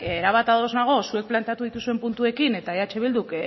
erabat ados nago zuek planteatu dituzuen puntuekin eta eh bilduk